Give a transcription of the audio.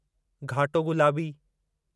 घाटो गुलाबी